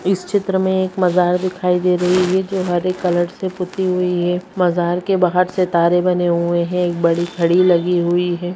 इस चित्र में एक मझार दिखाई दे रही है जो हरे कलर से पुती हुई है मजार के बाहर सितारे बने हुए है एक बड़ी घड़ी लगी हुई है।